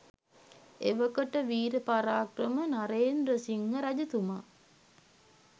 එවකට විර පරාක්‍රම නරේන්ද්‍රසිංහ රජතුමා